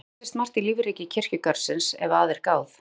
Svona leynist margt í lífríki kirkjugarðsins ef að er gáð.